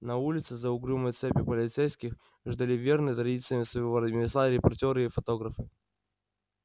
на улице за угрюмой цепью полицейских ждали верные традициям своего ремесла репортёры и фотографы